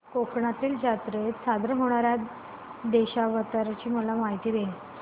कोकणातील जत्रेत सादर होणार्या दशावताराची मला माहिती दे